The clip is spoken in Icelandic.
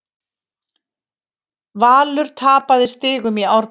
Valur tapaði stigum í Árbæ